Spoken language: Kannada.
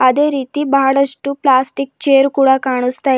ಅದೇ ರೀತಿ ಬಹಳಷ್ಟು ಪ್ಲಾಸ್ಟಿಕ್ ಚೇರ್ ಕೂಡ ಕಾಣಸ್ತಾ--